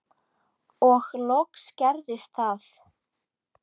Og loks gerðist það.